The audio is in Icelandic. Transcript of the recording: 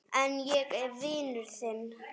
En ég er vinur þinn.